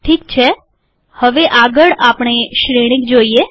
ઠીક છે હવે આગળ આપણે શ્રેણિક જોઈએ